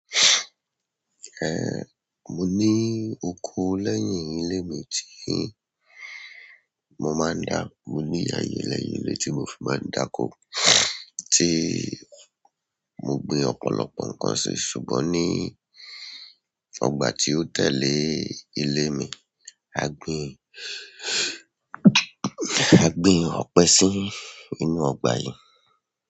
Ehn, mo ní oko lẹ́yìn ilé mi tí mo máa ń dá, mo ní ìyàrá ẹyẹ lẹ́yìn ilé tí mo fi máa ń dákó tí mo gbin ọ̀pọ̀lọpọ̀ nǹkan sí, ṣùgbọ́n ní ọgbà tí ó tẹ̀lé ilé mi, a gbin, a gbin ọ̀pẹ sí inú ọgbà yẹn.